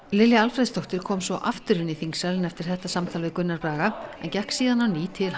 Lilja Alfreðsdóttir kom svo aftur inn í þingsalinn eftir þetta samtal við Gunnar Braga en gekk síðan á ný til